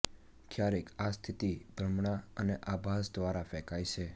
ક્યારેક આ સ્થિતિ ભ્રમણા અને આભાસ દ્વારા ફેંકાય છે